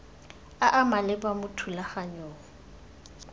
a a maleba mo thulaganyong